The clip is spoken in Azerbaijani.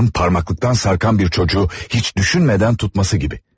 İnsanın parmaklıqdan sarkan bir çocuğu heç düşünmədən tutması kimi.